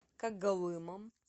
когалымом